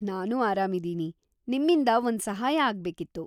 ನಾನೂ ಆರಾಮಿದೀನಿ. ನಿಮ್ಮಿಂದ ಒಂದ್ ಸಹಾಯ ಆಗ್ಬೇಕಿತ್ತು.